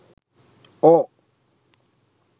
or